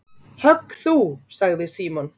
Högg þú sagði Símon.